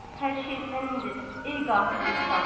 Hər şey sənindir, ey qafil insan.